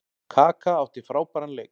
Kaka átti frábæran leik.